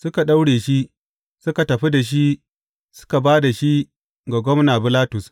Suka daure shi, suka tafi da shi, suka ba da shi ga gwamna Bilatus.